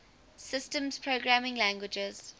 systems programming languages